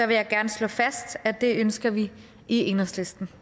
vil jeg gerne slå fast at det ønsker vi i enhedslisten